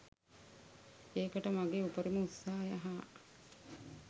ඒකට මගේ උපරිම උත්සාහය හා